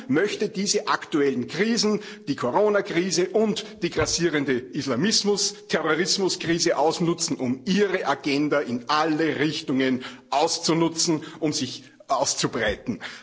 Die EU möchte diese aktuellen Krisen, die Corona Krise und die grassierende Islamismus Terrorismus Krise, ausnutzen, um ihre Agenda in alle Richtungen auszunutzen, um sich auszubreiten.